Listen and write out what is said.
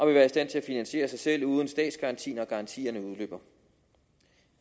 være i stand til at finansiere sig selv uden statsgaranti når garantierne udløber